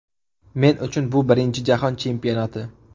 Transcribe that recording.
Men uchun bu birinchi jahon chempionati.